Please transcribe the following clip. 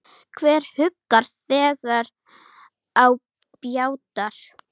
Hver huggar þegar á bjátar?